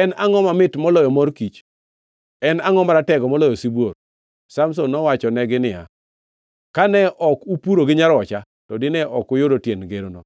“En angʼo mamit moloyo mor kich? En angʼo maratego moloyo sibuor?” Samson nowachonegi niya, “Kane ok upuro gi nyarocha, to dine ok uyudo tiend ngeroni.”